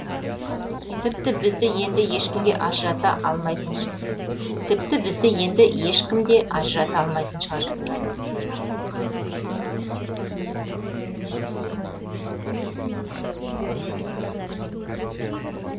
тіпті бізді енді ешкімде ажырата алмайтын шығар